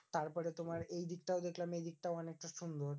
তারপরে তোমার এই দিকটাও দেখলাম দিকটাও অনেকটা সুন্দর।